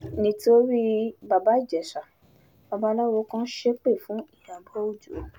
nítorí baba ìjèṣà babaláwo kan ṣépè fún ìyàbọ̀ ọjọ́